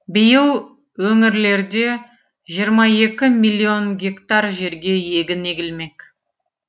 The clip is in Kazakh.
биыл өңірлерде жиырма екі миллион гектар жерге егін егілмек